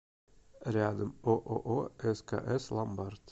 рядом ооо скс ломбард